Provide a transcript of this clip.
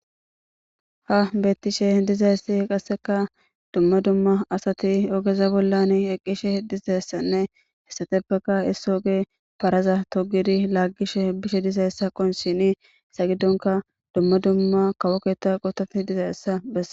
ha bettishe dizayssi qasseka dumma dumma asati ogeza bollan eqqishe dizayssanne hessatebaka issa oge faraza togidi laaggishe bishe dizayessa qon shhini isaygiddonka dumma dumma kawoketa qotati dizaessa bessa